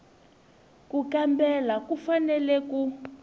ku kambela u fanele ku